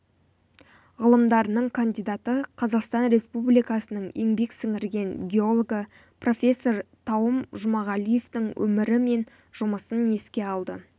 ғылымдарының кандидаты қазақстан республикасының еңбек сіңірген геологы профессор тауым жұмағалиевтің өмірі мен жұмысын еске алды